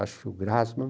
Acho que o Grassman.